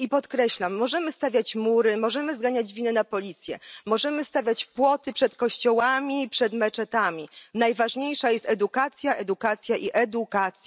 I podkreślam możemy stawiać mury, możemy zrzucać winę na policję, możemy stawiać płoty przed kościołami, przed meczetami, ale najważniejsza jest edukacja, edukacja i edukacja.